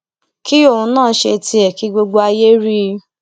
kí òun náà ṣe tiẹ kí gbogbo ayé rí i